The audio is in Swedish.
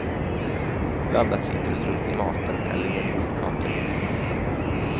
Blanda citrusfrukt i maten eller i en god kaka.